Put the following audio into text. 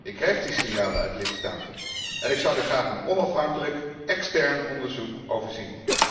Ik krijg die signalen uit de lidstaten en ik zou daar graag een onafhankelijk, extern onderzoek over zien.